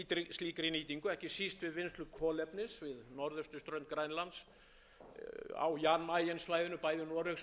slíkri nýtingu ekki síst við vinnslu kolefnis við norðausturströnd grænlands á jan mayen svæðinu bæði noregsmegin og